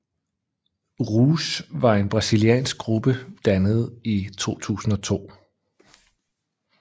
Rouge var en brasiliansk gruppe dannet i 2002